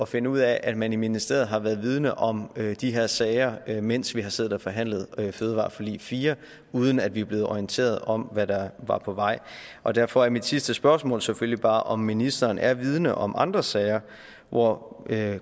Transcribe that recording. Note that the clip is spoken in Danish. finde ud af at man i ministeriet har været vidende om de her sager mens vi har siddet og forhandlet fødevareforlig fire uden at vi er blevet orienteret om hvad der var på vej og derfor er mit sidste spørgsmål selvfølgelig bare om ministeren er vidende om andre sager hvor